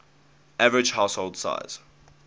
average household size